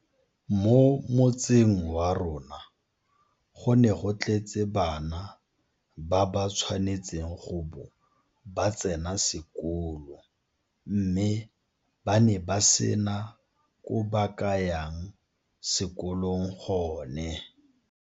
Mo motseng wa rona go ne go tletse bana ba ba tshwanetseng go bo ba tsena sekolo mme ba ne ba sena ko ba ka yang sekolong gone.